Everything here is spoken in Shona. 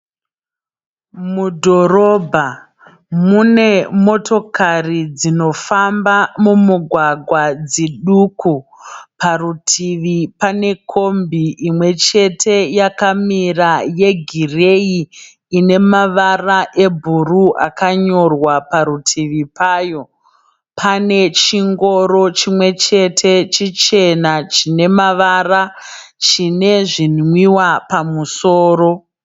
Mudhorobha mune motokari dzinofamba mumugwagwa dziduku. Parutivi pane kombi imwe chete yakamira yegireyi ine mavara ebhuru akanyorwa parutivi payo. Pane chingoro chimwe chete chichena chine mavara chine zvinwiwa pamusoro.